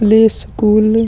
play school --